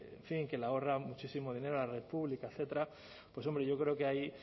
en fin que le ahorra muchísimo dinero a la red pública etcétera pues hombre yo creo que ahí